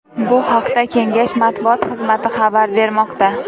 Bu haqda Kengash matbuot xizmati xabar bermoqda .